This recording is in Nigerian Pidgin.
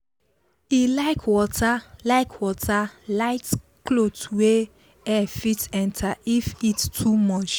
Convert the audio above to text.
he like wear like wear light cloth wey air fit enter if heat too much